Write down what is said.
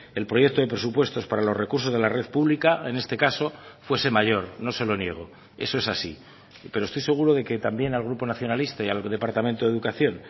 el proyecto de presupuestos para los recursos de la red pública en este caso fuese mayor no se lo niego eso es así pero estoy seguro de que también al grupo nacionalista y al departamento de educación